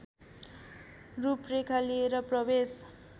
रूपरेखा लिएर प्रवेश